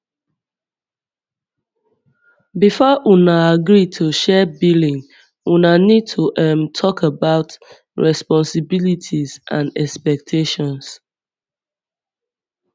before una agree to share billing una need to um talk about responsibilities and expectations